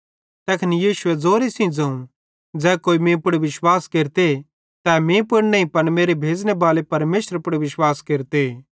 तैखन यीशुए ज़ोरे सेइं ज़ोवं ज़ै कोई मीं पुड़ विश्वास केरते तै मीं पुड़ नईं पन मेरे भेज़ने बाले परमेशरे पुड़ विश्वास केरते